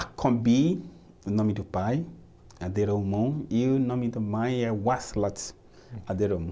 Acombi, o nome do pai, Aderomum, e o nome da mãe é Waslat, Aderomum.